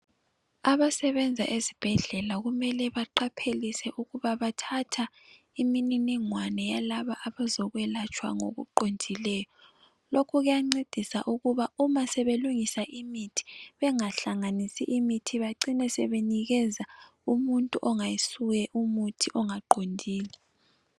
Abasebenza ezibhedlela kumele baqaphelise ukuba bathatha imininingwana yalaba abezokwelatshwa ngokuqondileyo. Lokhu kuyancedisa ukuba uma sebelungisa imithi, bengahlanisi imithi. Bacine sebenikeza umuntu ongayisuye, umuthi ongaqondile.